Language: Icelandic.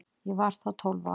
Ég var þá tólf ára.